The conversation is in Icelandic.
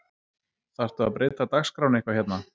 Þarftu að breyta dagskránni eitthvað hérna